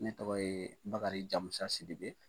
Ne tɔgɔ ye Bakari Jamusa Sidibe.